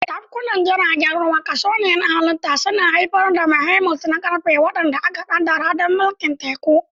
Tafkunan jiragen ruwa, kasko na halitta, suna haifar da behemoths na ƙarfe waɗanda aka ƙaddara don mulkin teku.